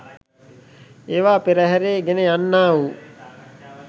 ඒවා පෙරහරේ ගෙන යන්නාවූ